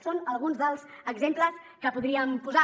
són alguns dels exemples que podríem posar